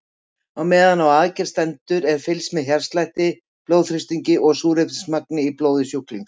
Á meðan á aðgerð stendur er fylgst með hjartslætti, blóðþrýstingi og súrefnismagni í blóði sjúklings.